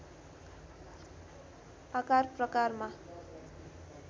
आकार प्रकारमा